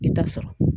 I ta sɔrɔ